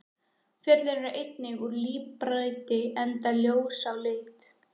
Fjöllin eru einnig úr líparíti enda ljós á lit.